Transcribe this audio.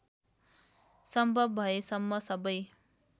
सम्भव भएसम्म सबै